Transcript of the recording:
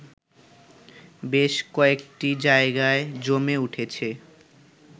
বেশ কয়েকটি জায়গায় জমে উঠেছে